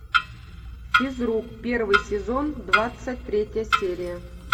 физрук первый сезон двадцать третья серия